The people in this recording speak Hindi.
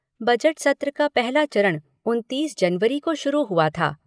बजट सत्र का पहला चरण उनतीस जनवरी को शुरू हुआ था।